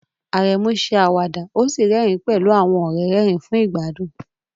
Aremu ṣe àwàdà ó sì rẹ́rìn-ín pẹ̀lú àwọn ọ̀rẹ́ rẹ́rìn-ín fún ìgbádùn.